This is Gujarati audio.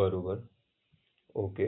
બરોબર ઑકે